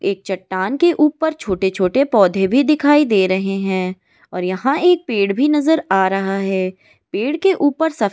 एक चट्टान के ऊपर छोटे-छोटे पौधे भी दिखाई दे रहे हैं और यहां एक पेड़ भी नजर आ रहा है पेड़ के ऊपर सब --